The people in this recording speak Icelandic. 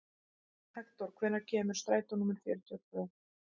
Hektor, hvenær kemur strætó númer fjörutíu og tvö?